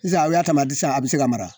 Sisan a y'a ta sisan a bɛ se ka mara